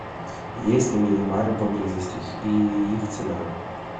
есть ли мини бары поблизости и их цена